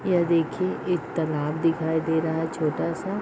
यह देखिए एक तालाब दिखाई दे रहा है छोटा-सा।